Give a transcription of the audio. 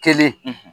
Kelen